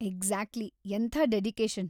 Exactly ಎಂಥ dedication.